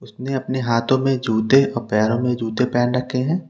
अपने अपने हाथों में जुटे और पैरों में जूते पहन रखे हैं।